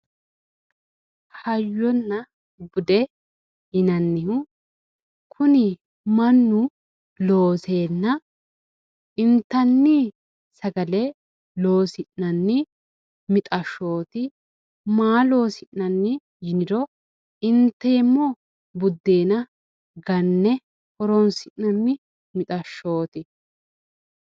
hayyonna bude yinannihu kuni mannu looseenna intanni sagale loosi'nanni mixashshooti maa loosi'nanni yinoro inteemmo buddeena ganne horonsi'nanni mixashshooti.